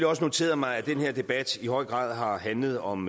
også noteret mig at den her debat i høj grad har handlet om